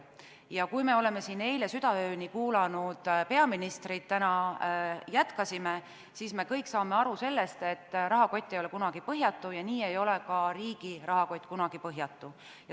Ja kui me oleme siin eile südaööni kuulanud peaministrit ja täna jätkanud, siis me kõik saame aru sellest, et rahakott ei ole kunagi põhjatu, nii ei ole ka riigi rahakott kunagi põhjatu.